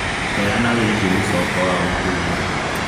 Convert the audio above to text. heana wĩigie mũcongo wa uhuru